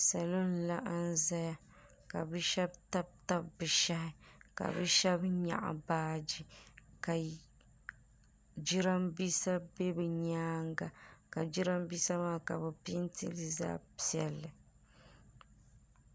salo n laɣim ʒɛya ka be shɛbi tabi tabi be shɛhi ʒɛya ka be shɛbi nyɛgi baaji ka jarinibɛsa bɛ be nyɛŋa ka jarinibɛsa ka be pɛnitɛli zaɣ piɛli